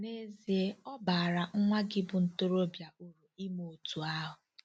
N'ezie, ọ baara nwa gị bu ntorobịa uru ime otú ahụ.